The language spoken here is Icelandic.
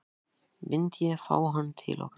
Myndi ég fá hann til okkar aftur?